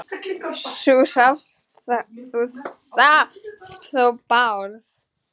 Þú sást þó Bárð?